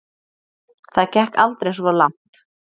Það gekk aldrei svo langt.